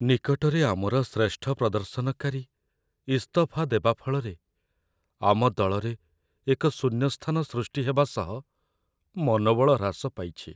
ନିକଟରେ ଆମର ଶ୍ରେଷ୍ଠ ପ୍ରଦର୍ଶନକାରୀ ଇସ୍ତଫା ଦେବା ଫଳରେ ଆମ ଦଳରେ ଏକ ଶୂନ୍ୟସ୍ଥାନ ସୃଷ୍ଟି ହେବା ସହ ମନୋବଳ ହ୍ରାସ ପାଇଛି।